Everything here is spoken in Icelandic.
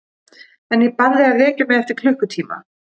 En ég bað þig að vekja mig eftir klukkutíma.